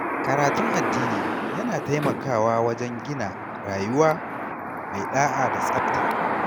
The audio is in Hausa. Karatun addini yana taimakawa wajen gina rayuwa mai ɗa’a da tsafta.